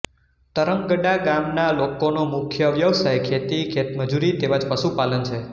તરંગડા ગામના લોકોનો મુખ્ય વ્યવસાય ખેતી ખેતમજૂરી તેમ જ પશુપાલન છે